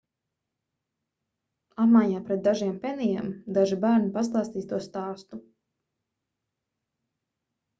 apmaiņā pret dažiem penijiem daži bērni pastāstīs to stāstu